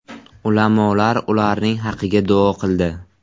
Ulamolar ularning haqiga duo qildi.